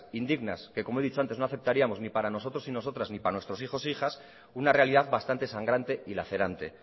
indignas que como he dicho antes no aceptaríamos ni para nosotros y nosotras ni para nuestros hijos e hijas una realidad bastante sangrante y lacerante